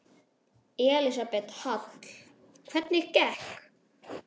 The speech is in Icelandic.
Elísabet Hall: Hvernig gekk?